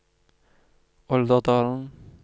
Olderdalen